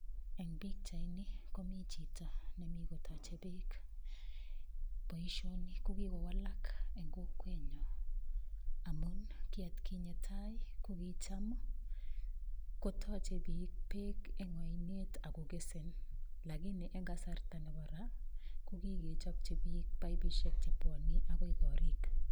Eng' pikchaini komi chito nemi kotochei beek boishoni kokikowalak eng' kokwenyo amun ki atkinye tai ko kicham kotochei biik beek eng' oinet akokesen lakani eng' kasarta nebo ra kokikechopchi biik pipishek chepwoni akoi korik